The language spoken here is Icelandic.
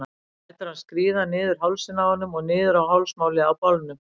Lætur hann skríða niður hálsinn á honum og niður á hálsmálið á bolnum.